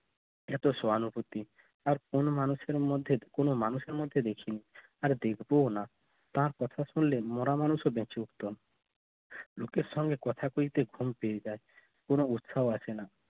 এত সহানুভূতি আর কোন মানুষের মধ্যে কোন মানুষের মত দেখে নেই, আর দেখবো না তার কথা শুনলে মরা মানুষের বেঁচে উঠতেন লোকের সঙ্গে কথা বলতে পেয়ে যায় কোন উৎসাও আসে না